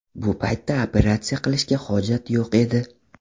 Bu paytda operatsiya qilishga hojat yo‘q edi.